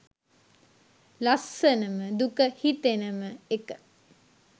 ලස්සනම දුක හිතෙනම එක